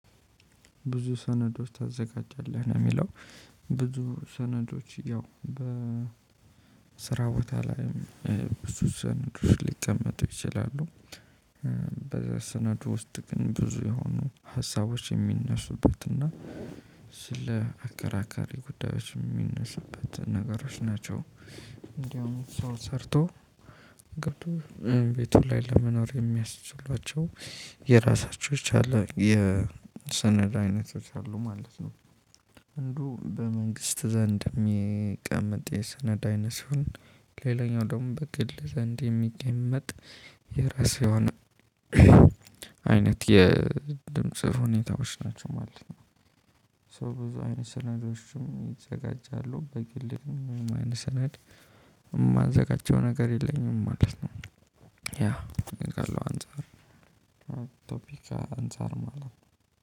ብዙ ሰነዶች ታዘጋጃለህ ነው የሚለው? ብዙ ሰነዶች ያው በ ቦታ ላይም ብዙ ሰነዶች ሊቀመጡ ይችላሉ። በሰነዱ ውስጥ ግን ብዙ የሆኑ ሀሳቦች የሚነሱበትና ስለ አከራካሪ ጉዳዮች የሚነሱበት ነገሮች ናቸው። እንደውም ሰው ሰርቶ ገብቶ ቤቱ ላይ ለመኖር የሚያስችሏቸው የራሳቸው የቻለ የሰነድ አይነቶች አሉ ማለት ነው። አንዱ በመንግስት ዘንድ የሚቀመጥ የሰነድ አይነት ሲሆን ሌላኛው ደግሞ በግል ዘንድ የሚቀመጥ የራስ የሆነ አይነት የድምጽ ሁኔታዎች ናቸው ማለት ነው። ስለዚህ ብዙ አይነት ሰነዶችም ይዘጋጃሉ በግል ምንም አይነት ሰነድ የማዘጋጀው ነገር የለኝም ማለት ነው። ያ ከኔ ካለው አንፃር ቶፒክ አንፃር ማለት ነው።